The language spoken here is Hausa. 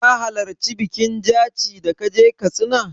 Ka halarci bikin al'adar jaci da ka je Katsina?